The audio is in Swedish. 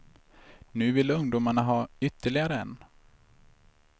Nu vill ungdomarna ha ytterligare en.